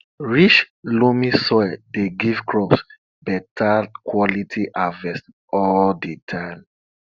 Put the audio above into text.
rich loamy soil dey give crops better quality harvest all di time